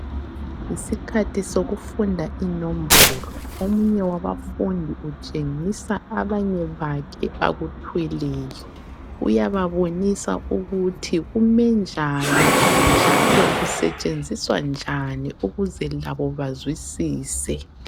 Isikhathi sokufunda inombolo omunye wabafundi utshengisa abanye bakhe akuthweleyo uyababonisa ukuthi kume njani, njalo kusetshenziswa njani ukuze labo bazwisise.